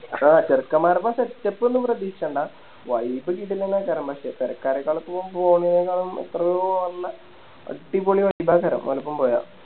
ആ ചേർക്കൻമ്മാരോപ്പം Setup ഒന്നും പ്രതീഷിച്ചണ്ട Vibe കിടിലം പക്ഷെ പേരക്കാരേക്കാളും പോവും പോന്നേനെക്കാളും എത്രയോ നല്ല അടിപൊളി ആൾക്കാരെ ഓരൊപ്പം പോയ